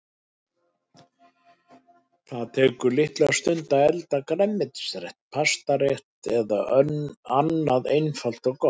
Það tekur litla stund að elda grænmetisrétt, pastarétt eða annað einfalt og gott.